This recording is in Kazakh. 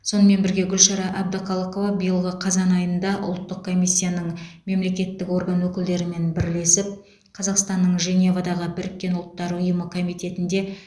сонымен бірге гүлшара әбдіқалықова биылғы қазан айында ұлттық комиссияның мемлекеттік орган өкілдерімен бірлесіп қазақстанның женевадағы біріккен ұлттар ұйымы комитетінде